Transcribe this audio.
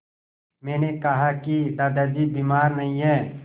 मैंने कहा कि दादाजी बीमार नहीं हैं